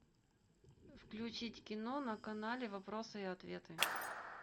включить кино на канале вопросы и ответы